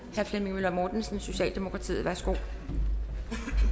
herre flemming møller mortensen socialdemokratiet værsgo